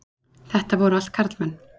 Þetta voru allt karlmenn.